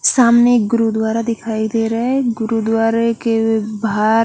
सामने एक गुरुदुवारा दिखाई देरा है गुरुदुवारे के बाहर--